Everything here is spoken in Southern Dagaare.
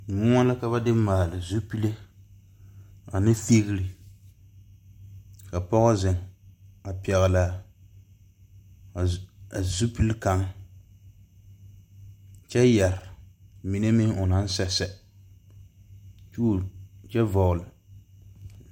Moɔ ka ba de maali zupele ane fegere ka pɔge zeŋ a pɛgle la zu a zupele kaŋ kyɛ yɛre mine meŋ o naŋ sɛsɛ tuli kyɛ vɔgle.